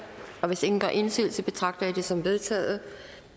hvis ingen gør indsigelse betragter jeg det som vedtaget